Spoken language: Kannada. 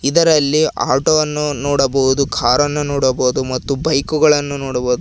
ಇದರಲ್ಲಿ ಆಟೋ ವನ್ನು ನೋಡಬಹುದು ಕಾರ್ ಅನ್ನು ನೋಡಬೊದು ಮತ್ತು ಬೈಕುಗಳನ್ನು ನೋಡಬೊದು.